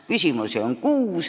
Küsimusi on kuus.